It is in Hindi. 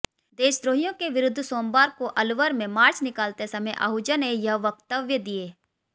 देशद्रोहियों के विरूद्ध सोमवार को अलवर में मार्च निकालते समय आहूजा ने यह वक्तव्य दिए